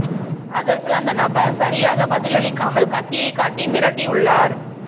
அதற்கு அந்த நபர் சரியாக பதில் அளிக்காமல் கத்தியை காட்டி மிரட்டியுள்ளார்